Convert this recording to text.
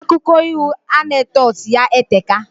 Akụko iho anecdotes ya eteka